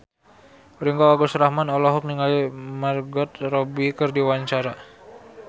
Ringgo Agus Rahman olohok ningali Margot Robbie keur diwawancara